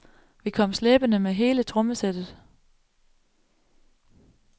Vi kom slæbende med hele trommesættet.